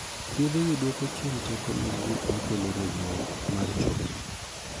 Thiedhegi duoko chien teko mag gik ma kelo regruok mar choke.